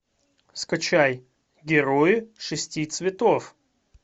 скачай герои шести цветов